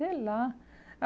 Sei lá.